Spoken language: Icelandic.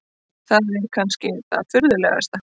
Það er kannski það furðulegasta.